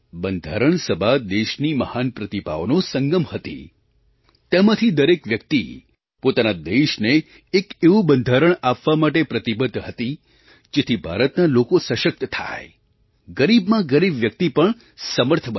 બંધારણ સભા દેશની મહાન પ્રતિભાઓનો સંગમ હતી તેમાંથી દરેક વ્યક્તિ પોતાના દેશને એક એવું બંધારણ આપવા માટે પ્રતિબદ્ધ હતી જેથી ભારતના લોકો સશક્ત થાય ગરીબમાં ગરીબ વ્યક્તિ પણ સમર્થ બને